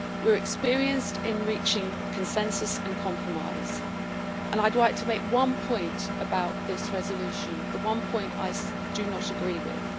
we are experienced in reaching consensus and compromise. I would like to make one point about this resolution, which is the one point I do not agree with.